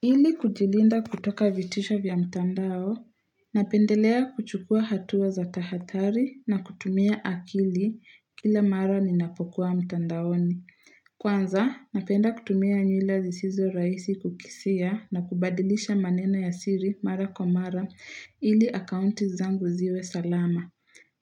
Ili kujilinda kutoka vitisho vya mtandao, napendelea kuchukua hatua za tahathari na kutumia akili kila mara ninapokuwa mtandaoni. Kwanza, napenda kutumia nywila zisizo rahisi kukisia na kubadilisha maneno ya siri mara kwa mara ili akaunti zangu ziwe salama.